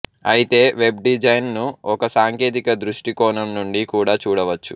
అయితే web design ను ఒక సాంకేతిక దృష్టి కోణం నుండి కూడా చూడవచ్చు